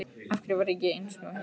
Af hverju var ég ekki einsog hinir?